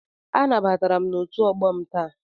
Anabatara m na otu ọgbọ m taa.